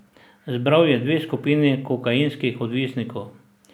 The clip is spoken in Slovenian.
Zbral je dve skupini kokainskih odvisnikov.